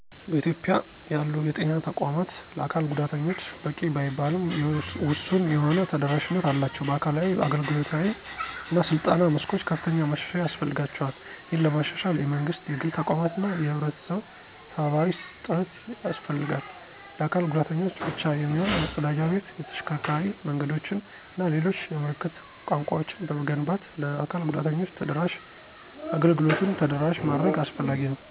በኢትዮጵያ ያሉ የጤና ተቋማት ለአካል ጉዳተኞች በቂ ባይባልም ውሱን የሆነ ተደራሽነት አላቸው። በአካላዊ፣ አገልግሎታዊ እና ስልጠና መስኮች ከፍተኛ ማሻሻያ ያስፈልጋቸዋል። ይህንን ለማሻሻል የመንግስት፣ የግል ተቋማት እና የህብረተሰብ ተባባሪ ጥረት ያስፈልጋል። ለአካል ጉዳተኞች ብቻ የሚሆን መፀዳጃ ቤት፣ የተሽከርካሪ መንገዶችን እና ሌሎች የምልክት ቋንቋወችን በመገንባት ለ አካል ጉዳተኞች ተደራሽ አገልግሎቱን ተደራሽ ማድረግ አስፈላጊ ነው።